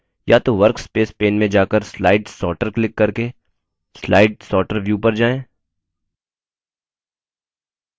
या तो workspace pane में जाकर slide sorter क्लिक करके slide sorter view पर जाएँ